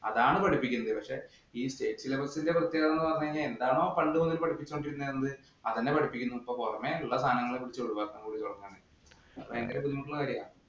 അതാണ് പഠിപ്പിക്കേണ്ടത് ഈ State syllabus ഇന്‍റെ പ്രത്യേകത എന്ന് പറഞ്ഞാൽ അവര് പണ്ട് മുതലേ പഠിപ്പിച്ചു കൊണ്ടിരിക്കുന്ന എന്ത് അത് തന്നെ പഠിപ്പിക്കുന്നു. ഇപ്പൊ പൊറമേ ഉള്ള സാധനങ്ങള്‍ കൂടി ഒഴിവാക്കാന്‍ കൂടി തുടങ്ങുകയാണ്. ഭയങ്കര ബുദ്ധിമുട്ടുള്ള കാര്യാ.